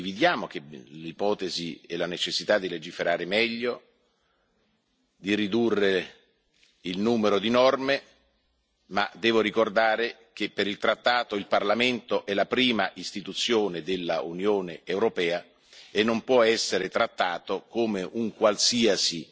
Noi condividiamo l'ipotesi e la necessità di legiferare meglio, di ridurre il numero di norme, ma devo ricordare che in base al trattato il Parlamento è la prima istituzione dell'Unione europea e non può essere trattato come un qualsiasi